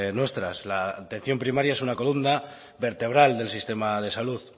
nuestras la atención primaria es una columna vertebral del sistema de salud